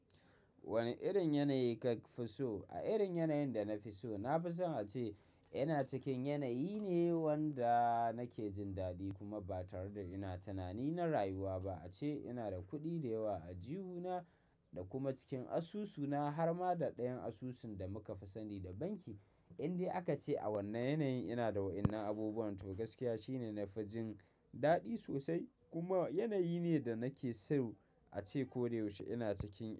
Wane irin yanayi ka fi so? A irin yanayin da na fi so, na fi son a ce ina cikin yanayi ne wanda nake jin daɗi kuma ba tare da ina tunani na rayuwa ba. A ce ina da kuɗi da yawa a aljihuna da kuma cikin asusuna har ma da ɗayan asusun da muka fi sani da banki. Inde aka ce a wannan yanayin ina da wa'innan abubuwan to gaskiya shine na fi jin daɗi sosai. Kuma yanayi ne da nake so a ce ko da yaushe ina cikin shi.